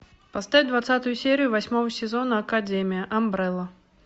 поставь двадцатую серию восьмого сезона академия амбрелла